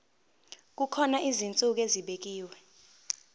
kukhona izinsuku ezibekiwe